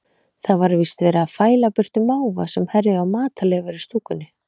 Það var víst verið að fæla burtu máva sem herjuðu á matarleifar í stúkunni.